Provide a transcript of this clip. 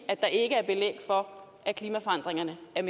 at der ikke er belæg for at klimaforandringerne er